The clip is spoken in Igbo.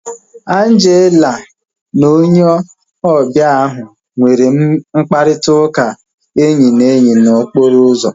Angela na onye ọbịa ahu nwere mkparịta ụka enyi na enyi na okporo ụzọ